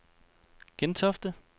Gentofte